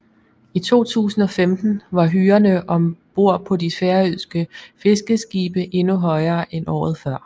I 2015 var hyrerne ombord på de færøske fiskeskibe endnu højere end året før